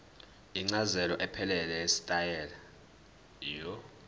incazelo ephelele yetayitela